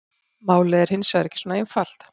Málið er hins vegar ekki svona einfalt.